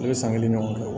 Ne bɛ san kelen ɲɔgɔn kɛ